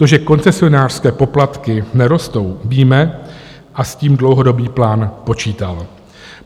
To, že koncesionářské poplatky nerostou, víme a s tím dlouhodobý plán počítal.